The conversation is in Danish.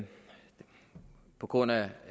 på grund af